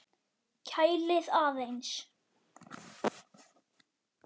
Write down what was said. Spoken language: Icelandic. Kælið aðeins.